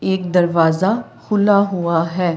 एक दरवाजा खुला हुआ है।